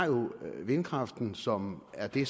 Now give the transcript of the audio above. vindkraften som er det